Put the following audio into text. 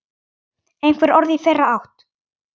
Einhver orð í þeirra átt?